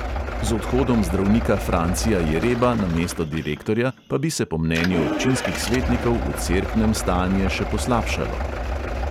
Z odhodom zdravnika francija jereba na mesto direktorja pa bi se po mnenju občinskih svetnikov v cerknem stanje še poslabšalo.